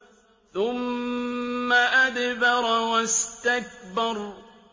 ثُمَّ أَدْبَرَ وَاسْتَكْبَرَ